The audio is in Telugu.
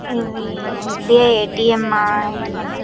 ఇదీ ఎస్ _బి _ఐ ఎటిఎం . ఆ ఎటిఎం అ.